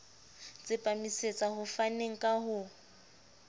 tsepamisetsa ho faneng ka ho